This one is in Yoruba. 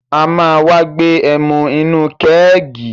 A ma wá gbé ẹmu inú kẹ́ẹ̀gì